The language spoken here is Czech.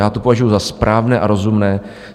Já to považuji za správné a rozumné.